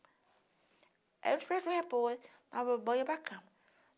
Aí a gente prestou repouso, dava banho ia para cama.